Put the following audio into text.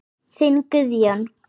Þinn Guðjón.